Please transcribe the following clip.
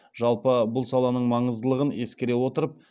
жалпы бұл саланың маңыздылығын ескере отырып